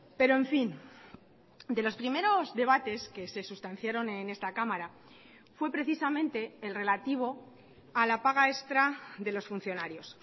pero en fin de los primeros debates que se sustanciaron en esta cámara fue precisamente el relativo a la paga extra de los funcionarios